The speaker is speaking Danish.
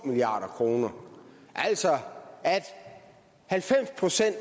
milliard kr altså at halvfems procent